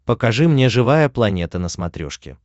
покажи мне живая планета на смотрешке